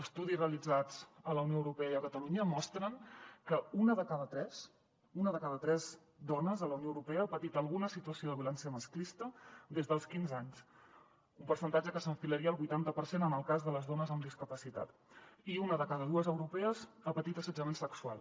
estudis realitzats a la unió europea i a catalunya mostren que una de cada tres una de cada tres dones a la unió europea ha patit alguna situació de violència masclista des dels quinze anys un percentatge que s’enfilaria al vuitanta per cent en el cas de les dones amb discapacitat i una de cada dues europees ha patit assetjament sexual